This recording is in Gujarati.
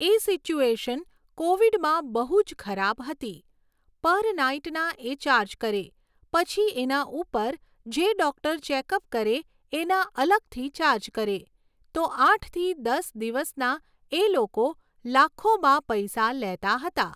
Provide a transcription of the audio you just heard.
એ સિચ્યુએશન કોવિડમાં બહુ જ ખરાબ હતી. પર નાઇટના એ ચાર્જ કરે, પછી એના ઉપર જે ડૉક્ટર ચૅકઅપ કરે એના અલગથી ચાર્જ કરે, તો આઠથી દસ દિવસના એ લોકો લાખોમાં પૈસા લેતા હતા